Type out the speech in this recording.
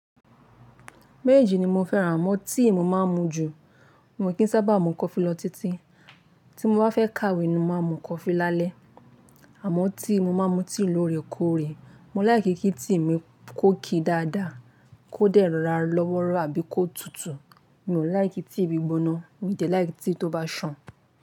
Méjji ni mo fẹ́ràn amọ̀ tí mo máa n mu jù. Mo kì sábà mu coffe lọ títí, tí mo bá fẹ́ kàwé ni mo ma mu coffe lálẹ́. Àmọ́ tea mo máa mu tea lóorekoore, mo like kí tea mi kó ki dáadáa kó dẹ̀ ra lọ́wọ́rọ́ àbí kó tutù. Mi ò like tea gbígbóná, mi dẹ̀ like tea tó bá ṣàn.